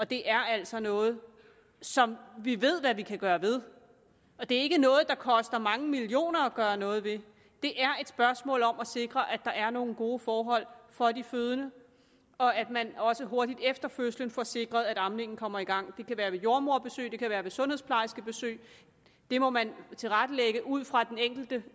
det er altså noget som vi ved hvad vi kan gøre ved og det er ikke noget der koster mange millioner at gøre noget ved det er et spørgsmål om at sikre at der er nogle gode forhold for de fødende og at man også hurtigt efter fødslen får sikret at amningen kommer i gang det kan være ved jordemoderbesøg og det kan være sundhedsplejerskebesøg det må man tilrettelægge ud fra den enkelte